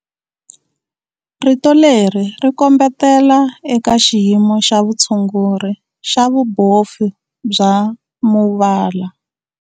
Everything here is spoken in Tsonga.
Rito leri ri kombetela eka xiyimo xa vutshunguri xa vubofu bya muvala.